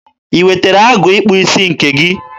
I wetere agụ ịkpụ isi nke gị?